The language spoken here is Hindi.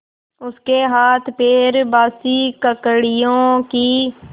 उसके हाथपैर बासी ककड़ियों की